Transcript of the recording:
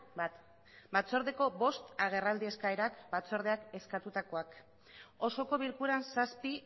bat batzordeko bost agerraldi eskaerak batzordeak eskatutakoak osoko bilkuran zazpi